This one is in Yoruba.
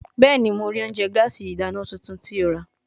Bẹẹni, Mo rii ounjẹ gaasi idana tuntun ti o ra